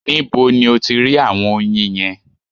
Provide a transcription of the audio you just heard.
Nibo ni o ti rí àwọn oyin yẹn?